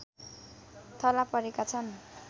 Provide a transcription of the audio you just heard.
थलापरेका छन्